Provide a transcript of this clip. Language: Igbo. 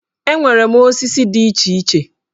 Enwere m osisi dị iche iche